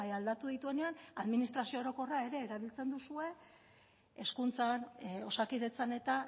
aldatu dituenean administrazio orokorra ere erabiltzen duzue hezkuntzan osakidetzan eta